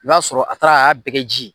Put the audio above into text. N' o y'a sɔrɔ a taara ay'a bɛɛ kɛ ji ye.